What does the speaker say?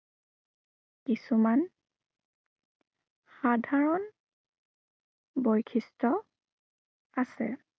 কিছুমান সাধাৰণ বৈশিষ্ট্য়, আছে।